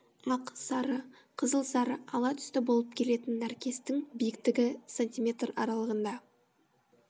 ақ сары қызыл сары ала түсті болып келетін нәркестің биіктігі см аралығында